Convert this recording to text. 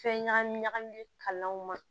Fɛn ɲagami ɲagami kalanw ma